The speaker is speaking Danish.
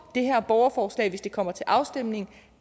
det her borgerforslag hvis det kommer til afstemning